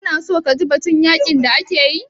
Ka na so kaji batun yaƙin da ake yi?